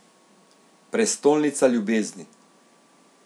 Prestolnica ljubezni!